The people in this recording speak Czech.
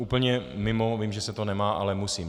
Úplně mimo, vím, že se to nemá, ale musím.